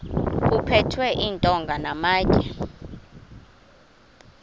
kuphethwe iintonga namatye